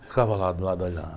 Ficava lá do lado, olhando.